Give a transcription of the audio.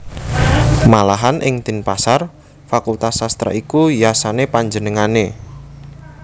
Malahan ing Denpasar fakultas sastra iku yasané panjenengané